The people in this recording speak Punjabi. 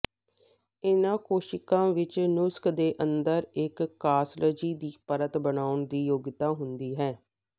ਇਨ੍ਹਾਂ ਕੋਸ਼ੀਕਾਂ ਵਿੱਚ ਨੁਕਸ ਦੇ ਅੰਦਰ ਇੱਕ ਕਾਸਲਜੀ ਦੀ ਪਰਤ ਬਣਾਉਣ ਦੀ ਯੋਗਤਾ ਹੁੰਦੀ ਹੈ